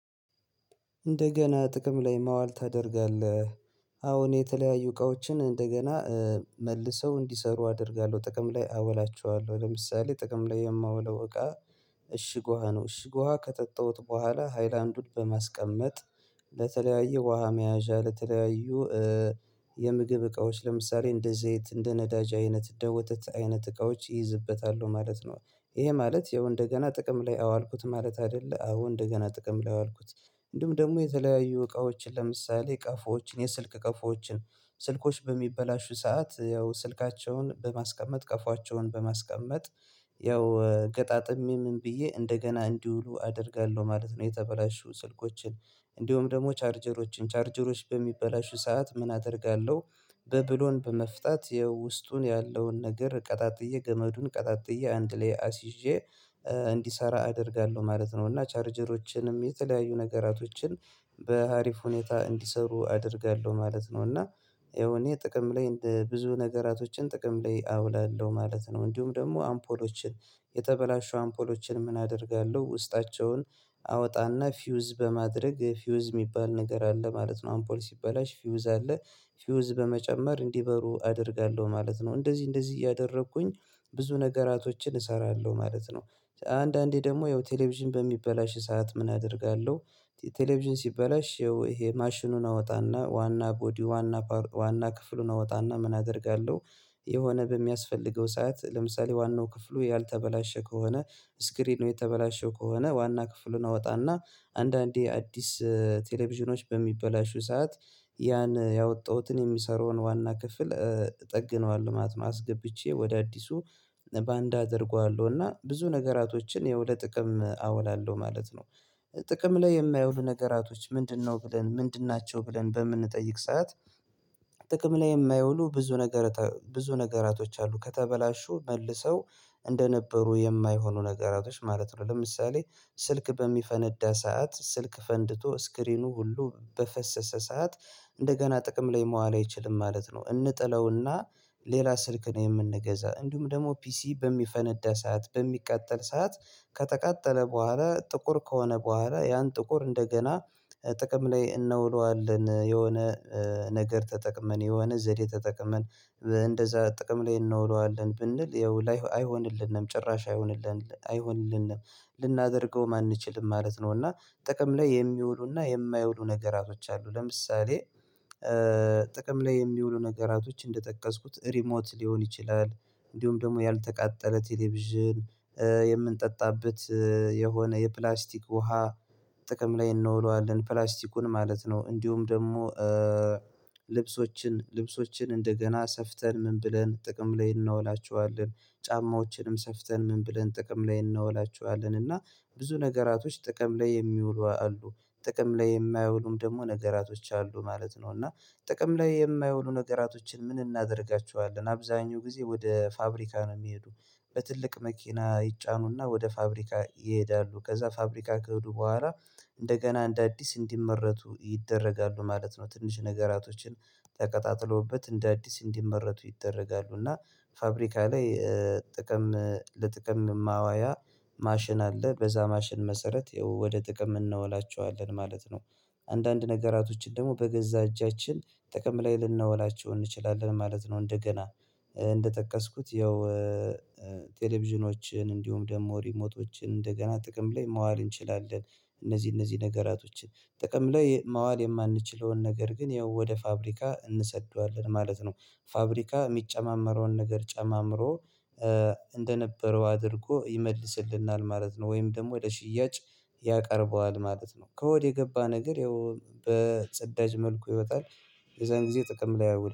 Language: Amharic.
እንደገና ጥቅም ላይ ማዋል ታደርጋለህ አዎን የተለያዩ እቃዎችን እንደገና መልሰው እንዲሰሩ አደርጋለሁ ጥቅም ላይ አወላቸዋለሁ ለምሳሌ ጥቅም ላይ የማውለው እቃ እሺግ ውሃ ነው። እሺግ ውሃ ከጠጣሁት በኋላ ሃይላንዱን በማስቀመጥ ለተለያዩ ውሃ መያዣ ለተለያዩ የምግብ እቃዎች ለምሳሌ እንደ ዘይት እንደ ነዳጅ አይነት እንደ ወተት አይነት እቃዎች ይይዝበታሉ ማለት ነው። ይሄ ማለት ያው እንደገና ጥቅም ላይ አዋልኩት ማለት አይደለም። አዎ እንደገና ጥቅም ላይ አዋልኩት እንደውም ደግሞ የተለያዩ እቃዎችን ለምሳሌ ቀፎዎችን የስልክ ቀፎዎችን ስልኮች በሚበላሹ ሰዓት ያው ስልካቸውን በማስቀመጥ ቀፎቸውን በማስቀመጥ ያው ገጣጥሜ ምን ብዬ እንደገና እንዲውሉ አደርጋለሁ ማለት ነው የተበላሹ ስልኮችን እንዲሁም ደግሞ ቻርጀሮችን ቻርጀሮች በሚበላሹ ሰዓት ምን አደርጋለሁ በብሎን በመፍታት የውስጡን ያለውን ነገር ቀጣጥዬ ገመዱን ቀጣጥዬ አንድ ላይ አስይዤ እንዲሰራ አደርጋለሁ ማለት ነው እና ቻርጀሮችንም የተለያዩ ነገራቶችን በአሪፍ ሁኔታ እንዲሰሩ አደርጋለሁ ማለት ነው እና ያው እኔ ጥቅም ላይ እንደ ብዙ ነገራቶችን ጥቅም ላይ አውላለሁ ማለት ነው እንዲሁም ደግሞ አምፖሎችን የተበላሸው አምፖሎችን ምን አደርጋለሁ ውስጣቸውን አወጣና ፊውዝ በማድረግ ፊውዝ የሚባል ነገር አለ ማለት ነው አምፖል ሲበላሽ ፊውዝ አለ ፊውዝ በመጨመር እንዲበሩ አደርጋለሁ ማለት ነው እንደዚህ እንደዚህ እያደረኩኝ ብዙ ነገራቶችን እሰራለሁ ማለት ነው አንዳንዴ ደግሞ ያው ቴሌቪዥን በሚበላሽ ሰዓት ምን አደርጋለሁ ቴሌቪዥን ሲበላሽ ይሄ ማሽኑን አወጣና ዋና ቦዲ ዋና ዋና ክፍሉን አወጣና ምን አደርጋለሁ የሆነ በሚያስፈልገው ሰዓት ለምሳሌ ዋናው ክፍሉ ያልተበላሸ ከሆነ ስክሪኑ የተበላሸው ከሆነ ዋና ክፍሉን አወጣና አንዳንዴ አዲስ ቴሌቪዥኖች በሚበላሹ ሰዓት ያን ያወጣሁትን የሚሰራውን ዋና ክፍል ጠግነዋል ማለት ነው አስገብቼ ወደ አዲሱ በአንድ አደርገዋለሁ እና ብዙ ነገራቶችን ለሆነ ጥቅም አውላለሁ ማለት ነው ጥቅም ላይ የማይውሉ ነገራቶች ምንድነው ብለን ምንድን ናቸው ብለን በምንጠይቅ ሰዓት ጥቅም ላይ የማይውሉ ብዙ ነገር ብዙ ነገራቶች አሉ ከተበላሹ መልሰው እንደነበሩ የማይሆኑ ነገራቶች ማለት ነው ለምሳሌ ስልክ በሚፈነዳ ሰዓት ስልክ ፈንድቶ ስክሪኑ ሁሉ በፈሰሰ ሰዓት እንደገና ጥቅም ላይ መዋል አይችልም ማለት ነው እንጥለውና ሌላ ስልክ ነው የምንገዛ እንዲሁም ደግሞ ፒሲ በሚፈነዳ ሰዓት በሚቃጠል ሰዓት ከተቃጠለ በኋላ ጥቁር ከሆነ በኋላ ያን ጥቁር እንደገና ጥቅም ላይ እንውለዋለን የሆነ ነገር ተጠቅመን የሆነ ዘዴ ተጠቅመን እንደዛ ጥቅም ላይ እናወናዋለን ብንል ያው አይሆንልንም ጭራሽ አይሆንልንም አይሆንልንም ልናደርገው ማንችልም ማለት ነው እና ጥቅም ላይ የሚውሉና የማይውሉ ነገራቶች አሉ ለምሳሌ ጥቅም ላይ የሚውሉ ነገራቶች እንደጠቀስኩት ሪሞት ሊሆን ይችላል እንዲሁም ደግሞ ያልተቃጠለ ቴሌቪዥን የምንጠጣበት የሆነ የፕላስቲክ ውሃ ጥቅም ላይ እንወዋለን ፕላስቲኩን ማለት ነው እንዲሁም ደግሞ ልብሶችን ልብሶችን እንደገና ሰፍተን ምን ብለን ጥቅም ላይ እናውላችኋለን ጫማዎችንም ሰፍተን ምን ብለን ጥቅም ላይ እናውላችኋለን እና ብዙ ነገራቶች ጥቅም ላይ የሚውሉ አሉ ጥቅም ላይ የማያውሉም ደግሞ ነገራቶች አሉ ማለት ነው እና ጥቅም ላይ የማይውሉ ነገራቶችን ምን እናደርጋቸዋለን አብዛኛው ጊዜ ወደ ፋብሪካ ነው የሚሄዱት በትልቅ መኪና ይጫኑና ወደ ፋብሪካ ይሄዳሉ ከዛ ፋብሪካ ከሄዱ በኋላ እንደገና እንደ አዲስ እንዲመረቱ ይደረጋሉ ማለት ነው ትንሽ ነገራቶችን ተቀጣጥሎበት እንደ አዲስ እንዲመረቱ ይደረጋሉ እና ፋብሪካ ላይ ጥቅም ለጥቅም ማዋያ ማሽን አለ በዛ ማሽን መሰረት ወደ ጥቅም እናወላቸዋለን ማለት ነው አንዳንድ ነገራቶችን ደግሞ በገዛ እጃችን ጥቅም ላይ ልንነውላቸው እንችላለን ማለት ነው እንደገና እንደጠቀስኩት ያው ቴሌቪዥኖችን እንዲሁም ደግሞ ሪሞቶችን እንደገና ጥቅም ላይ ማዋል እንችላለን እነዚህ እነዚህ ነገራቶችን ጥቅም ላይ ማዋል የማንችለውን ነገር ግን ያው ወደ ፋብሪካ እንሰድደዋለን ማለት ነው ፋብሪካ የሚጨማመረውን ነገር ጨማምሮ እንደነበረው አድርጎ ይመልስልናል ማለት ነው ወይም ደግሞ ወደ ሽያጭ ያቀርበዋል ማለት ነው ከወድ የገባ ነገር ያው በጽዳጅ መልኩ ይወጣል የዛን ጊዜ ጥቅም ላይ አይውልም